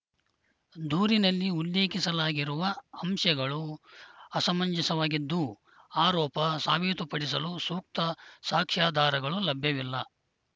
ದೂರಿನಲ್ಲಿ ಉಲ್ಲೇಖಿಸಲಾಗಿರುವ ಅಂಶಗಳು ಅಸಮಂಜಸವಾಗಿದ್ದು ಆರೋಪ ಸಾಬೀತುಪಡಿಸಲು ಸೂಕ್ತ ಸಾಕ್ಷ್ಯಾಧಾರಗಳು ಲಭ್ಯವಿಲ್ಲ